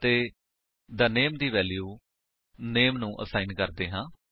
ਅਤੇ the name ਦੀ value ਨਾਮੇ ਨੂੰ ਅਸਾਇਨ ਕਰਦੇ ਹਾਂ